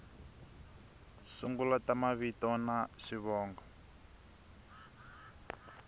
sungula ta mavito na xivongo